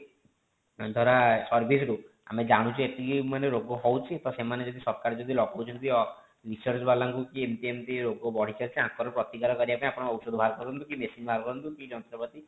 ଧର service ରୁ ଆମେ ଜାଣୁଛେ ଏତିକି ମାନେ ରୋଗ ହୋଉଛି ତ ସେମାନେ ଯଦି ସକାଳେ ଯଦି ଲଗାଉଛନ୍ତି ବି research ବାଲା ଙ୍କୁ କି ଏମିତି ଏମିତି ରୋଗ ବଢି ଚାଲିଛି ୟାଙ୍କର ପ୍ରତିକାର କରିବା ପାଇଁ ଆପଣ ଔଷଧ ବାହାର କରନ୍ତୁ କି machine ବାହାର କରନ୍ତୁ କି ଯନ୍ତ୍ରପାତି